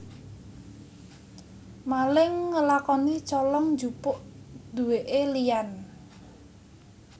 Maling ngelakoni colong jupuk duweke liyan